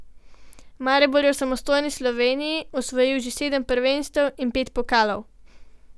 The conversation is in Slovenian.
Maribor je v samostojni Sloveniji osvojil že sedem prvenstev in pet pokalov.